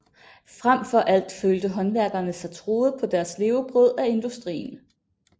Frem for alt følte håndværkerne sig truet på deres levebrød af industrien